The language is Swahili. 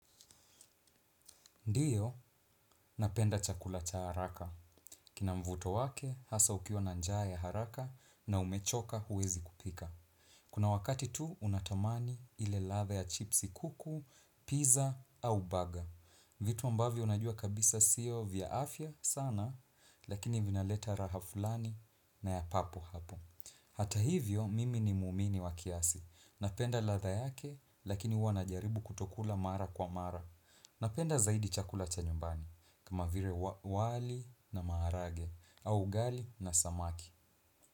Ndiyo, napenda chakula cha haraka. Kina mvuto wake, hasa ukiwa na njaa ya haraka na umechoka huwezi kupika. Kuna wakati tu, unatamani ile ladha ya chipsi kuku, pizza au baga. Vitu ambavyo unajua kabisa siyo vya afya sana, lakini vinaleta ladha fulani na ya papo hapo. Hata hivyo, mimi ni muumini wa kiasi. Napenda ladha yake, lakini huwa najaribu kutokula mara kwa mara. Napenda zaidi chakula cha nyumbani kama vile wali na maharage au ugali na samaki.